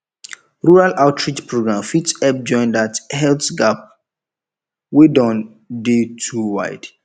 rural outreach program fit help join that health gap wey don dey too wide